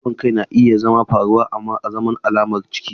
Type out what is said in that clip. Ciwon kai na iya faruwa azaman alamar ciki.